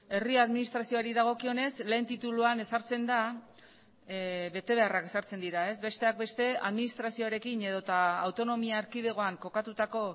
herri administrazioari dagokionez lehen tituluan ezartzen da betebeharrak ezartzen dira ez besteak beste administrazioarekin edota autonomia erkidegoan kokatutako